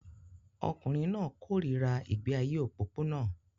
Ọkùnrin náà kórìíra ìgbé ayé òpópónà